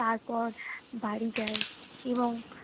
তারপর বাড়ি যাই এবং